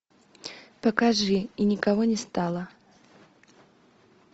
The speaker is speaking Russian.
покажи и никого не стало